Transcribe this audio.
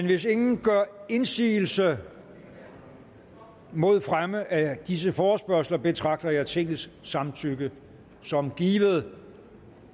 hvis ingen gør indsigelse mod fremme af disse forespørgsler betragter jeg tingets samtykke som givet